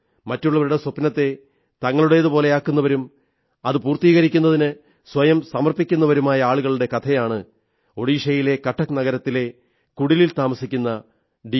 മറ്റുള്ളവരുടെ സ്വപ്നത്തെ തങ്ങളുടേതുപോലെയാക്കുന്നവരും അത് പൂർത്തീകരിക്കുന്നതിന് സ്വയം സമർപ്പിക്കുന്നവരുമായ ആളുകളുടെ കഥയാണ് ഒഡിഷയിലെ കട്ടക് നഗരത്തിലെ കുടിലിൽ താമസിക്കുന്ന ഡി